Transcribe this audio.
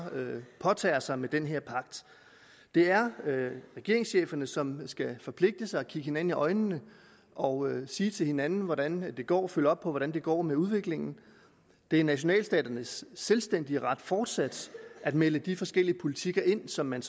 påtager sig med den her pagt det er regeringscheferne som skal forpligte sig og kigge hinanden i øjnene og sige hinanden hvordan det går og følge op på hvordan det går med udviklingen det er nationalstaternes selvstændige ret fortsat at melde de forskellige politikker ind som man